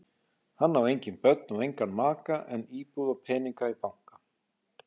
Hann á engin börn og engan maka en íbúð og peninga í banka.